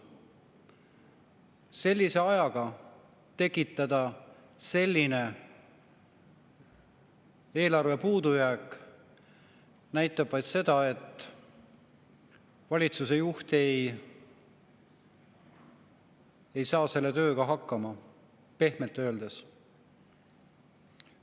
Sellise ajaga tekitada selline eelarvepuudujääk – see näitab vaid seda, et valitsuse juht ei saa selle tööga hakkama, pehmelt öeldes.